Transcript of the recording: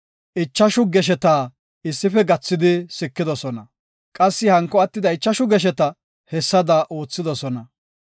Ichashu gesheta issife gathidi sikidosona; qassi hanko attida ichashu geshetaka hessada oothidosona.